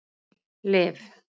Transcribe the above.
Liv